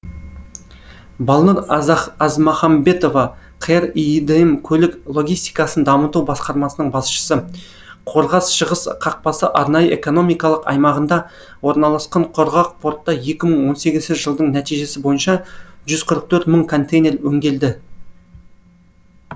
балнұр азмахамбетова қр иидм көлік логистикасын дамыту басқармасының басшысы қорғас шығыс қақпасы арнайы экономикалық аймағында орналасқан құрғақ портта екі мың он сегізінші жылдың нәтижесі бойынша жүз қырық төрт мың контейнер өңделді